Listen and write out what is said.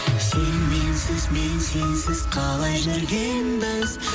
сен менсіз мен сенсіз қалай жүргенбіз